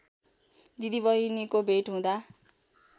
दिदीबहिनीको भेट हुँदा